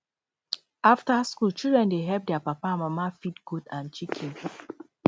after school children dey help their papa and mama feed goat and chicken